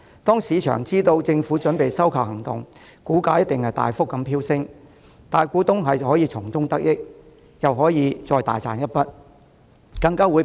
當市場得悉政府準備收購，領展股價定必大幅飆升，大股東又可從中得益，大賺一筆。